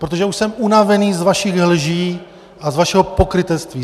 Protože už jsem unavený z vašich lží a z vašeho pokrytectví.